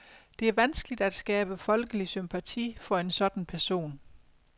Det er vanskeligt at skabe folkelig sympati for en sådan person.